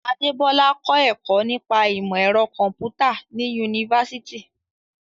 Adebola kọ́ ẹ̀kọ́ nípa ìmọ̀ ẹ̀rọ kọ̀m̀pútà ní yunifásítì.